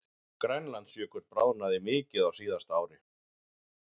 Grænlandsjökull bráðnaði mikið á síðasta ári